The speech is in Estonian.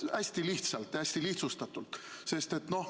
Hästi lihtsalt ja hästi lihtsustatult!